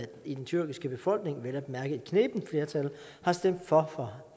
i den tyrkiske befolkning vel at mærke et knebent flertal har stemt for